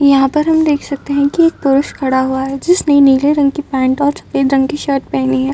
यहाँ पर हम देख सकते हैं की एक पुरुष खड़ा हुआ है। जिसनें नीले रंग की पैन्ट और सफेद रंग की शर्ट पहनी है।